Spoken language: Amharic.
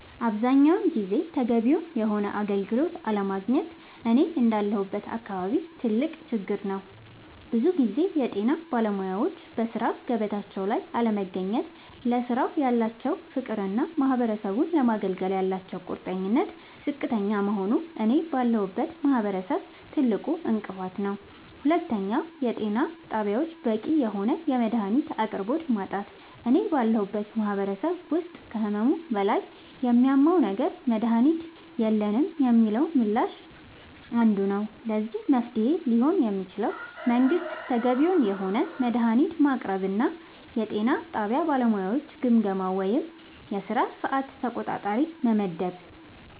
አብዛኛውን ጊዜ ተገቢውን የሆነ አገልግሎት አለማግኘት እኔ እንዳለሁበት አካባቢ ትልቅ ችግር ነዉ ብዙ ጊዜ የጤና ባለሙያወች በሥራ ገበታቸው ላይ አለመገኘት ለስራው ያላቸው ፍቅርና ማህበረሰቡን ለማገልገል ያላቸው ቁርጠኝነት ዝቅተኛ መሆኑ እኔ ባለሁበት ማህበረሰብ ትልቁ እንቅፋት ነዉ ሁለተኛው የጤና ጣቢያወች በቂ የሆነ የመድሃኒት አቅርቦት ማጣት እኔ ባለሁበት ማህበረሰብ ውስጥ ከህመሙ በላይ የሚያመው ነገር መድሃኒት የለንም የሚለው ምላሽ አንዱ ነዉ ለዚህ መፍትሄ ሊሆን የሚችለው መንግስት ተገቢውን የሆነ መድሃኒት ማቅረብና የጤና ጣቢያ ባለሙያወችን ግምገማ ወይም የስራ ሰዓት ተቆጣጣሪ መመደብ